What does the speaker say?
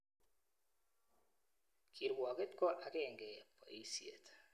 Kirwoket ko akenge boisiet.